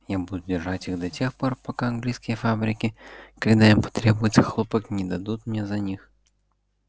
я буду держать их до тех пор пока английские фабрики когда им потребуется хлопок не дадут мне за них